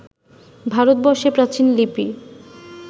ভারতবর্ষে প্রাচীন লিপি